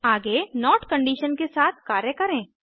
आगे not condition के साथ कार्य करें